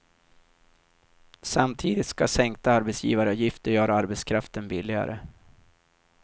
Samtidigt ska sänkta arbetsgivaravgifter göra arbetskraften billigare.